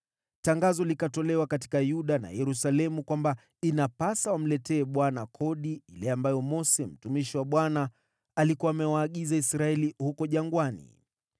Tangazo likatolewa katika Yuda na Yerusalemu kwamba inapasa wamletee Bwana kodi ile ambayo Mose, mtumishi wa Bwana alikuwa amewaagiza Israeli huko jangwani.